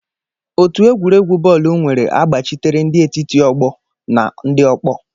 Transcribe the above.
Otu egwuregwu bọọlụ nwere agbachitere, ndi etiti ọgbọ na ndị ọkpọ.